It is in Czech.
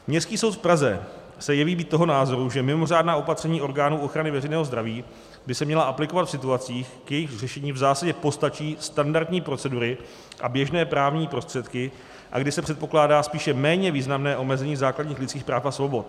Městský soud v Praze se jeví být toho názoru, že mimořádná opatření orgánů ochrany veřejného zdraví by se měla aplikovat v situacích, k jejichž řešení v zásadě postačí standardní procedury a běžné právní prostředky a kdy se předpokládá spíše méně významné omezení základních lidských práv a svobod.